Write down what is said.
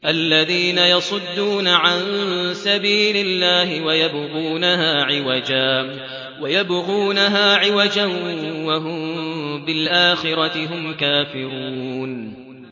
الَّذِينَ يَصُدُّونَ عَن سَبِيلِ اللَّهِ وَيَبْغُونَهَا عِوَجًا وَهُم بِالْآخِرَةِ هُمْ كَافِرُونَ